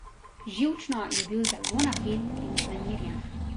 Živčno je bil zelo napet in vznemirjen.